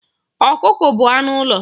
Ọkụkọ bụ anụ ụlọ.